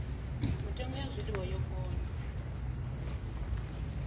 mitengo ya zwiḽiwa yo gonya